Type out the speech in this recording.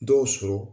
Dɔw sɔrɔ